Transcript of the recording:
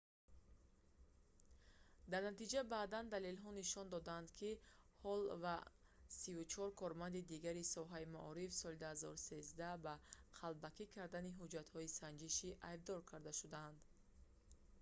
дар натиҷа баъдан далелҳо нишон доданд ки ҳолл ва 34 корманди дигари соҳаи маориф соли 2013 ба қалбакӣ кардани ҳуҷҷатҳои санҷишӣ айбдор карда шуданд